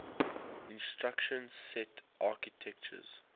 instruction set architectures